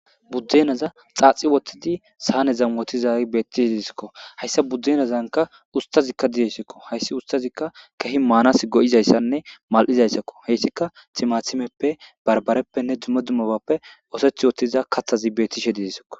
buddenaza xaaxi wothidi saanezan wotizagi beettishe didisikko hayssa buddeenazanka ustazikka diyesakko hayssi ustazikka kehi maanas go7izayssanne mal7izayssakko heyssika timathimeppe barbareppenne dummo dumobappe ooseth wottiza kathazi beettishe didesko